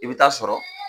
I bɛ taa sɔrɔ